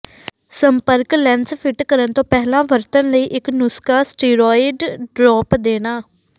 ਸੰਪਰਕ lens fit ਕਰਨ ਤੋਂ ਪਹਿਲਾਂ ਵਰਤਣ ਲਈ ਇੱਕ ਨੁਸਖ਼ਾ ਸਟੀਰੌਇਡ ਡ੍ਰੌਪ ਦੇਣਾ